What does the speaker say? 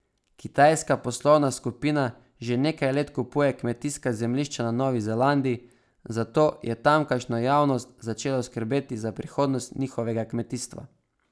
Kitajska poslovna skupina že nekaj let kupuje kmetijska zemljišča na Novi Zelandiji, zato je tamkajšnjo javnost začelo skrbeti za prihodnost njihovega kmetijstva.